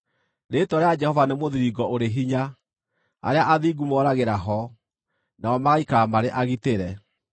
Rĩĩtwa rĩa Jehova nĩ mũthiringo ũrĩ hinya; arĩa athingu moragĩra ho, nao magaikara marĩ agitĩre.